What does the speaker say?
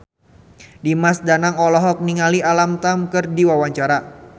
Dimas Danang olohok ningali Alam Tam keur diwawancara